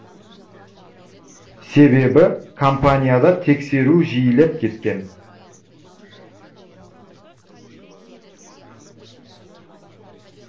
себебі компанияда тексеру жиілеп кеткен